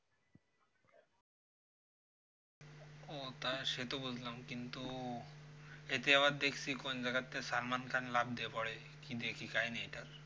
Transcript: ও তাই সে তো বুঝলাম, কিন্তু এতে আবার দেখছি কোন জাইয়াগাতে salman khan লাফ দিয়ে পরে কি দেখি কাহিনীটা